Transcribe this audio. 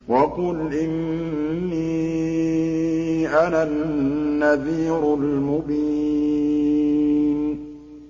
وَقُلْ إِنِّي أَنَا النَّذِيرُ الْمُبِينُ